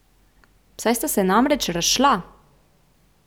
Saj sta se namreč razšla!